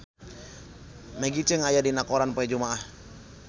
Maggie Cheung aya dina koran poe Jumaah